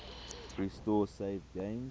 restore saved games